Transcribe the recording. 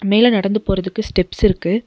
மேல நடந்து போறதுக்கு ஸ்டெப்ஸ் இருக்கு.